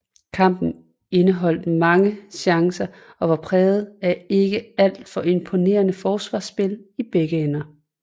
Kampen indeholdt mange chancer og var præget af ikke alt for imponerende forsvarsspil i begge ender